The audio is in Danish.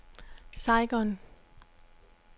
Saigon